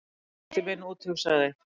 Kærastinn minn úthugsaði